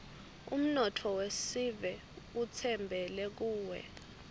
umnotfo wesive utsembele kuwe